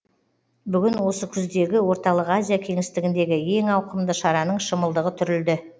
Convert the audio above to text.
бүгін осы күздегі орталық азия кеңістігіндегі ең ауқымды шараның шымылдығы түрілді